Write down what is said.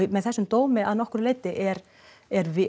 með þessum dómi að nokkru leyti er er